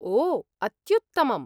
ओ, अत्युत्तमम्!